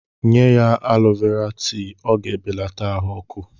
Nye ya alọ Vera tii, ọ ga-ebelata ahụ ọkụ.